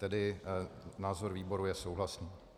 Tedy názor výboru je souhlasný.